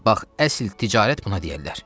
Bax, əsl ticarət buna deyərlər.